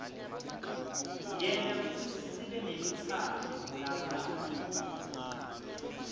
yenta kutsi sibenelutsandvo kulabanye